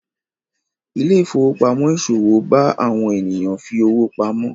Ile-ifowopamọ iṣowo bá àwọn ènìyàn fí ọwọ pàmò.